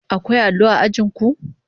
Akwai allo a ajin ku?